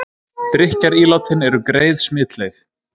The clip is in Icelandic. Drykkjarílátin eru greið smitleið